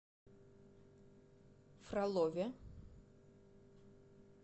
фролове